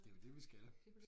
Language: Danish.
Det jo det vi skal